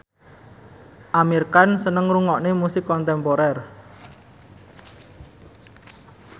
Amir Khan seneng ngrungokne musik kontemporer